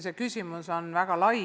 See küsimus on väga lai.